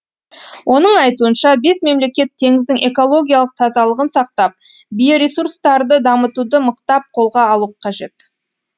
оның айтуынша бес мемлекет теңіздің экологиялық тазалығын сақтап биоресурстарды дамытуды мықтап қолға алу қажет